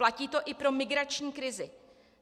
Platí to i pro migrační krizi.